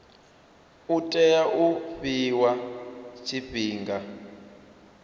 u tea u fhiwa tshifhinga